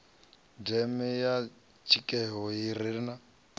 deme ya dzikhetho ye ra